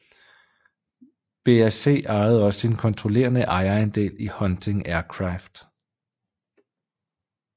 BAC ejede også en kontrollerende ejerandel i Hunting Aircraft